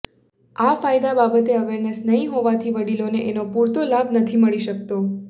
આ કાયદા બાબતે અવેરનેસ નહીં હોવાથી વડીલોને એનો પૂરતો લાભ નથી મળી શકતો